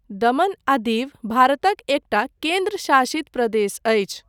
दमन आ दीव भारतक एकटा केन्द्र शासित प्रदेश अछि।